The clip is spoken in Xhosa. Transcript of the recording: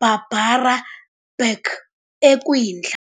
Barbara Bach, ekwindla.